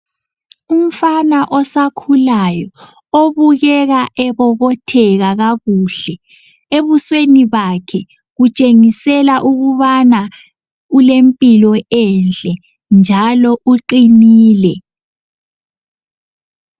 Umfana osakhulayo obukeka ebobotheka kakuhle. Ebusweni bakhe kutshengisela ukubana ulempilo enhle njalo uqinile.